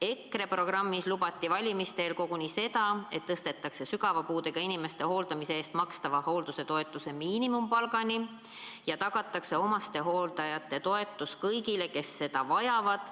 EKRE programmis lubati valimiste eel koguni seda, et tõstetakse sügava puudega inimeste hooldamise eest makstav toetus miinimumpalgani ja tagatakse omastehooldaja toetus kõigile, kes seda vajavad.